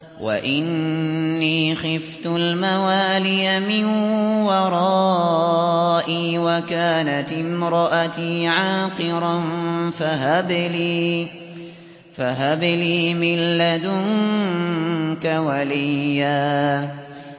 وَإِنِّي خِفْتُ الْمَوَالِيَ مِن وَرَائِي وَكَانَتِ امْرَأَتِي عَاقِرًا فَهَبْ لِي مِن لَّدُنكَ وَلِيًّا